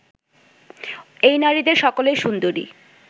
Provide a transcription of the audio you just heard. এই নারীদের সকলেই সুন্দরী